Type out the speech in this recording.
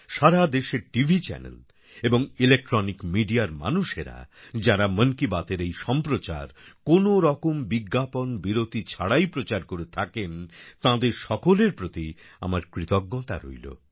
সারা দেশের TV channel এবং electronic মিডিয়ার মানুষেরা যাঁরা মন কি বাতের এই সম্প্রচার কোনরকম বিজ্ঞাপন বিরতি ছাড়াই প্রচার করে থাকেন তাঁদের সকলের প্রতি আমার কৃতজ্ঞতা রইল